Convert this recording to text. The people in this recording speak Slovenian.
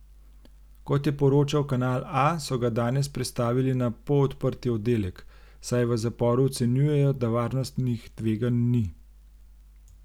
Kot je poročal Kanal A, so ga danes prestavili na polodprti oddelek, saj v zaporu ocenjujejo, da varnostnih tveganj ni.